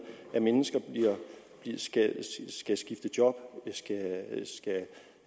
at mennesker skal skifte job